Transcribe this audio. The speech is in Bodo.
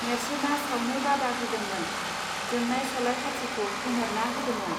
नेर्सोना सावनो बादा होदोंमोन, जोंनाय सलाइ खाथिखौ खोमोरना होदोंमोन